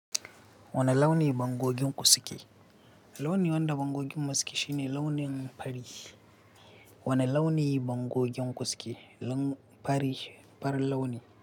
Wani launi bangogenku suke? Launi wanda bangoginmu suke shine launin fari. Wani launi bangoginku suke? Fari, farin launi.